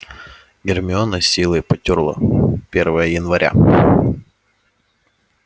гермиона с силой потёрла первое января